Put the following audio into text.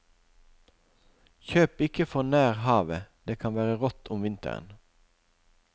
Kjøp ikke for nær havet, det kan være rått om vinteren.